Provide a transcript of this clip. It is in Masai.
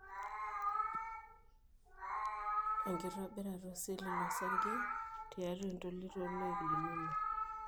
enkitobirata oseli losarge tiatua entolit oloik linono.